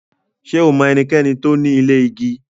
Ṣẹ o mọ ènìkẹ̀ní tó ní ilẹ̀ igi?